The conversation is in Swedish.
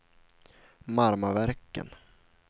Marmaverken